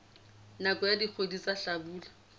nakong ya dikgwedi tsa hlabula